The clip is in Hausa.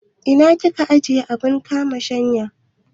Ina kika ajiye abun kama shanya?